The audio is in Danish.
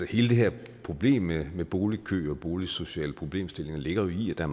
her problem med med boligkø og boligsociale problemstillinger ligger i at der